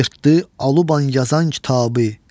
Yırtdı alıban yazan kitabı.